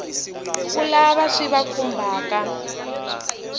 ka lava swi va khumbhaka